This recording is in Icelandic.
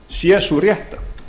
sé sú rétta